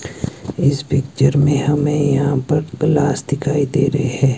इस पिक्चर में हमें यहां पर प्लस दिखाई दे रहे हैं।